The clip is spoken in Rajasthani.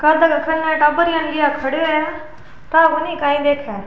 टाबरा ना लिए खड़यो है क्या पता काई देख रा है।